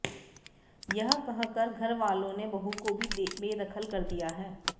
यह कहकर घरवालों ने बहू को ही बेदखल कर दिया है